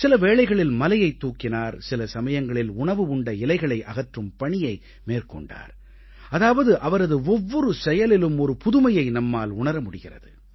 சில வேளைகளில் மலையைத் தூக்கினார் சில சமயங்களில் உணவு உண்ட இலையை அகற்றும் பணியை மேற்கொண்டார் அதாவது அவரது ஒவ்வொரு செயலிலும் ஒரு புதுமையை நம்மால் உணர முடிகிறது